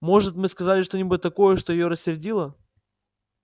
может мы сказали что-нибудь такое что её рассердило